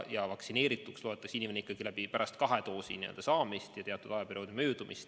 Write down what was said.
Vaktsineerituks loetakse inimene ikkagi pärast kahe doosi saamist, teatud ajaperioodi möödumist.